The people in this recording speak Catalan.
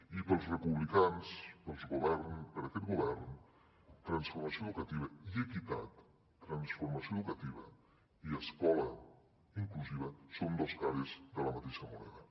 i per als republicans per a aquest govern transformació educativa i equitat transformació educativa i escola inclusiva són dos cares de la mateixa moneda